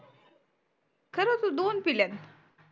खर तू दोन पील्यात